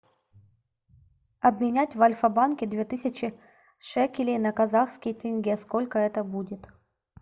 обменять в альфа банке две тысячи шекелей на казахские тенге сколько это будет